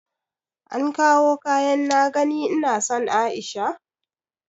An kawo kayan na gani ina son aisha?